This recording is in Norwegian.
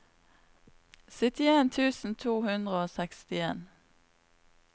syttien tusen to hundre og sekstien